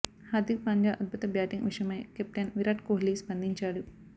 హార్దిక్ పాండ్యా అద్భుత బ్యాటింగ్ విషయమై కెప్టెన్ విరాట్ కోహ్లీ స్పందించాడు